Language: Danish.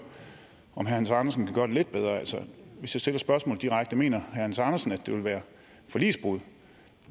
om herre hans andersen kan gøre det lidt bedre hvis jeg stiller spørgsmålet direkte mener hans andersen at det vil være forligsbrud